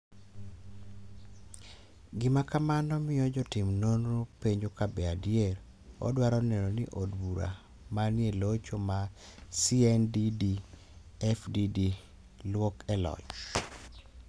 Gima kamano miyo jotim nonro penjo ka be adier odwaro neno ni od bura ma ni e locho mar CNDD-FDD lwok e loch.